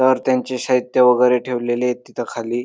तर त्यांचे साहित्य वगैरे ठेवलेले आहेत तिथं खाली.